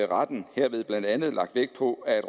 retten herved blandt andet lagt vægt på at